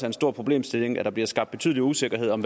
en stor problemstilling at der bliver skabt betydelig usikkerhed om